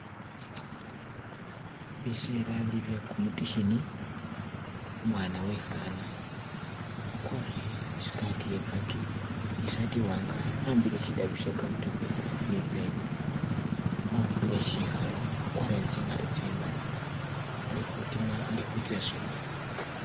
Biseela bili bye kumutikhini umwana uwe'khaana akwarire e'skirt iye kaki isaati iwanga, a'ambile shitabu she counter book ne i'pen akhupile sikhalu akwarire ne tsingato tsimali ali khutima ali khutsa isomelo.